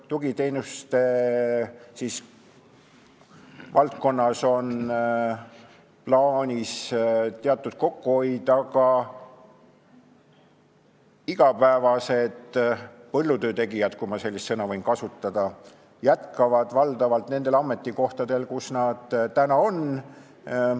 Ka tugiteenuste valdkonnas on plaanis teatud kokkuhoid, aga igapäevased põllutöötegijad, kui ma sellist sõna võin kasutada, jätkavad valdavalt nendel ametikohtadel, kus nad täna on.